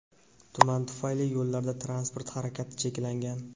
Tuman tufayli yo‘llarda transport harakati cheklangan.